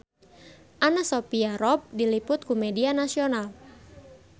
Anna Sophia Robb diliput ku media nasional